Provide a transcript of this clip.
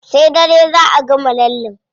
Sai dare zá a gama lallen.